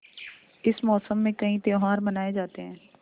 इस मौसम में कई त्यौहार मनाये जाते हैं